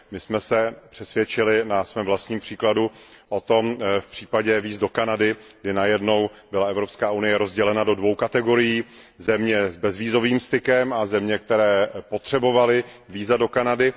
My jsem se o tom přesvědčili na svém vlastním příkladu v případě víz do Kanady, kdy najednou byla Evropská unie rozdělena do dvou kategorií, na země s bezvízovým stykem a země, které potřebovaly víza do Kanady.